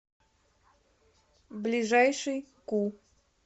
ближайший ку